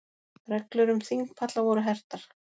Reglur um þingpalla voru hertar